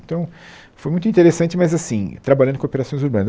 Então, foi muito interessante, mas assim, trabalhando com operações urbanas.